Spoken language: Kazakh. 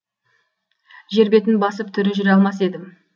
жер бетін басып тірі жүре алмас едім